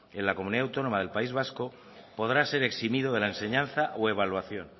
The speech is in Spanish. en la comunidad autónoma del país vasco podrá ser eximido de la enseñanza o evaluación